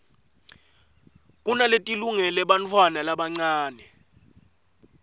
kunaletilungele bantfwana labancane